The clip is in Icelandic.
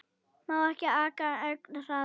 Má ekki aka ögn hraðar?